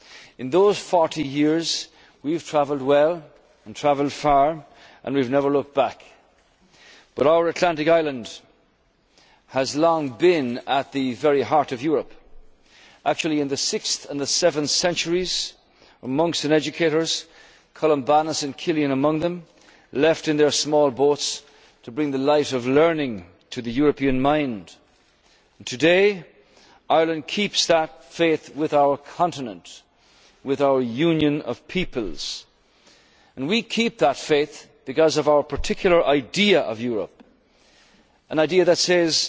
In those 40 years we have travelled well and travelled far and we have never looked back. But our Atlantic island has long been at the very heart' of Europe. Actually, in the sixth and seventh centuries our monks and educators, Columbanus and Cillian among them, left in their small boats to bring the light of learning to the European mind. Today Ireland keeps that faith with our continent, with our union of peoples. We keep that faith because of our particular idea of Europe. An idea that